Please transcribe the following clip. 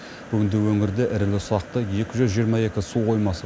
бүгінде өңірде ірілі ұсақты екі жүз жиырма екі су қоймасы